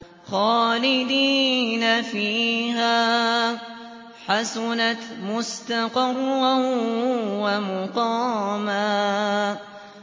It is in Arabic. خَالِدِينَ فِيهَا ۚ حَسُنَتْ مُسْتَقَرًّا وَمُقَامًا